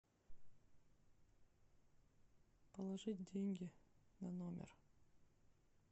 положить деньги на номер